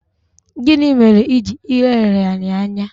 Gịnị mere iji ileghara ya anya?